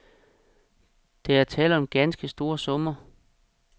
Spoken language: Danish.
Der er tale om ganske store summer.